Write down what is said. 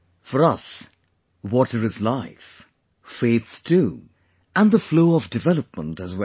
For us, water is life; faith too and the flow of development as well